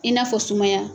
I n'a fɔ sumaya